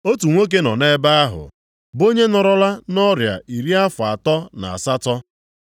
Otu nwoke nọ nʼebe ahụ bụ onye nọrọla nʼọrịa iri afọ atọ na asatọ.